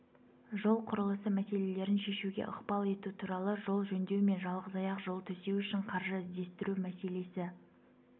жол құрылысы мәселелерін шешуге ықпал ету туралы жол жөндеу мен жалғызаяқ жол төсеу үшін қаржы іздестіру мәселесі